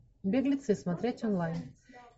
беглецы смотреть онлайн